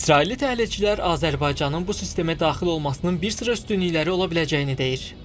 İsrailli təhlilçilər Azərbaycanın bu sistemə daxil olmasının bir sıra üstünlükləri ola biləcəyini deyir.